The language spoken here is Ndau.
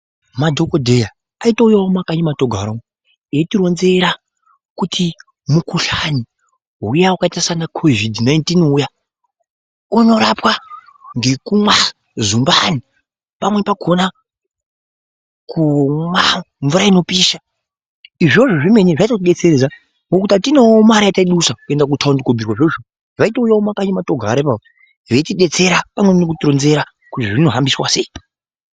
Madhokodheya aitouyawo mumakanyi matinogara umo eitironzera kuti mukhuhlani uya wakaita sana kovhidhi 19 uya unorapwa ngekumwa zumbani. Pamweni pakhona kumwa mvura inopisha. Izvozvo zvemene zvaitodetseredza ngokuti atinawonmare yataidusa kuenda kutaundi kobhuirwa izvozvo. Vaitouyawo mumakanyi matogara ipapo veitidetsera pamweni nekutironzera kuti zvinohambiswa sei.